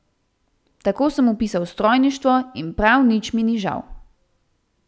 Tako sem vpisal strojništvo in prav nič mi ni žal.